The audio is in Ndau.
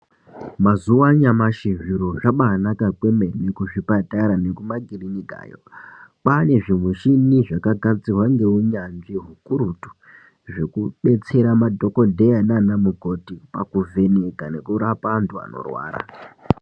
Mazuva anyamashi zviro zvabaanaka kwemene kuzvipatara nekumakirinikayo. Kwaane zvimichini zvakagadzirwa ngeunyanzvi hukurutu, zvekubetsera madhokodheya naana mukoti pakuvheneka nekurapa antu anorwara.